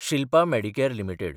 Shilpa Medicare limited